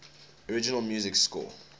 original music score